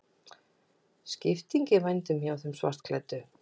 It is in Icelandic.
Skipting í vændum hjá þeim svartklæddu.